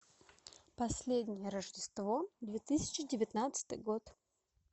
последнее рождество две тысячи девятнадцатый год